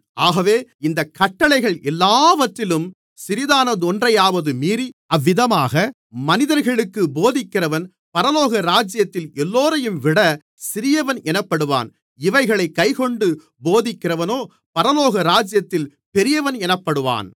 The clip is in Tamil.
ஆகவே இந்தக் கட்டளைகள் எல்லாவற்றிலும் சிறிதானதொன்றையாவது மீறி அவ்விதமாக மனிதர்களுக்குப் போதிக்கிறவன் பரலோகராஜ்யத்தில் எல்லோரையும்விட சிறியவன் எனப்படுவான் இவைகளைக் கைக்கொண்டு போதிக்கிறவனோ பரலோகராஜ்யத்தில் பெரியவன் எனப்படுவான்